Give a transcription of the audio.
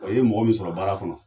Ɔ i ye mɔgɔ min sɔrɔ baara kɔnɔ